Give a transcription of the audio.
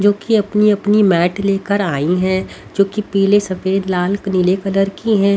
जो कि अपनी-अपनी मैट लेकर आई है जो की पीले सफेद लाल नीले कलर की है।